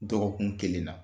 Dɔgɔkun kelen na.